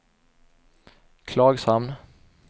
Klagshamn